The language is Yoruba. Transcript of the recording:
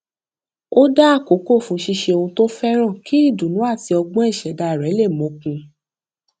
ó dá àkókò fún ṣíṣe ohun tó fẹràn kí ìdùnnú àti ọgbọn ìṣẹdá rẹ lè mókun